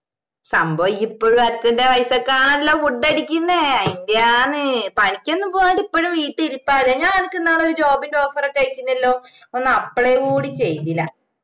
സംഭവം ഇപ്പഴും അച്ഛന്റെ പൈസക്കാണല്ലോ food അടിക്കുന്നേ അയിന്റെയാന്ന് പണിക്കൊന്നും പോവ്വാണ്ട് ഇപ്പഴും വീട്ടിൽ ഇരിപ്പാല്ലേ ഞാൻ ഇനിക്ക് ഇന്നാളോരു job ന്റെ offer ഒക്കെ അയച്ചിനല്ലോ ഒന്ന് apply കൂടി ചെയ്തില്ല